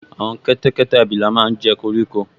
Àwọn kẹ́tẹ́kẹ́tẹ́ abilà máa n jẹ koríko